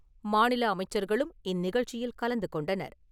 மாநில அமைச்சர்களும் இந்நிகழ்ச்சியில் கலந்து கொண்டனர்.